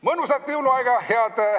Mõnusat jõuluaega!